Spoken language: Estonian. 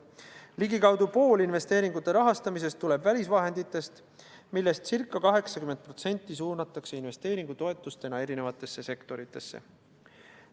Ligikaudu pool investeeringute rahast tuleb välisvahenditest, millest ca 80% suunatakse investeeringutoetustena eri sektoritesse.